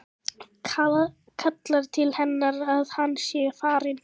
Kallar til hennar að hann sé farinn.